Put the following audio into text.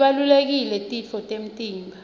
tibalulekile titfo temtimba